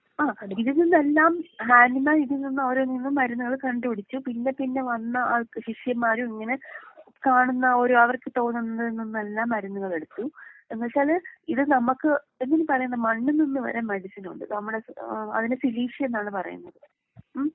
ആഹ് ഇതിൽ നിന്നെല്ലാം ഹാനിമാന്‍ ഇതില്‍ നിന്ന് ഓരോ വീതം മരുന്നുകള് കണ്ട് പിടിച്ചു പിന്നെ പിന്നെ വന്ന ആൾക്ക് ശിഷ്യമ്മാരിങ്ങനെ കാണുന്ന ഒരു അവർക്ക് തോന്നുന്നതിൽ നിന്നെല്ലാം മരുന്നുകൾ എടുത്തു. എന്നിട്ടത് ഇത് നമ്മക്ക് എന്തിന് പറയുന്നെ മണ്ണിൽ നിന്ന് വരെ മെഡിസിനുണ്ട്. നമ്മടെ ഏഹ് അതിന് ഫിലീഷ്യ എന്നാണ് പറയുന്നത്. ഉം.